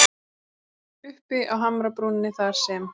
Uppi á hamrabrúninni þar sem